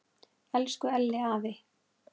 Elsku Elli afi.